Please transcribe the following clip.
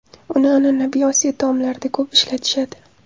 Uni an’anaviy Osiyo taomlarida ko‘p ishlatishadi.